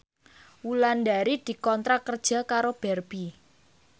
Wulandari dikontrak kerja karo Barbie